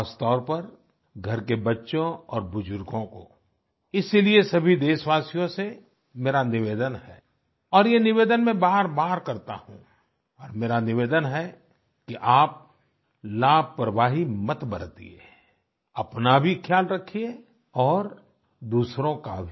खासतौर पर घर के बच्चों और बुजुर्गों को इसीलिए सभी देशवासियों से मेरा निवेदन है और ये निवेदन मैं बारबार करता हूँ और मेरा निवेदन है कि आप लापरवाही मत बरतिये अपना भी ख्याल रखिए और दूसरों का भी